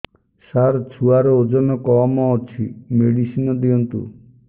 ସାର ଛୁଆର ଓଜନ କମ ଅଛି ମେଡିସିନ ଦିଅନ୍ତୁ